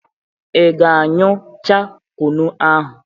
Ị ga a ñyu cha kụnụ ahụ?